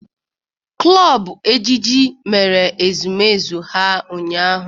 Klọb ejije mere ezumezu ha ụnyaahụ.